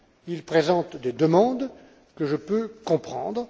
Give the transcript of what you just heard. Il présente des demandes que je peux comprendre.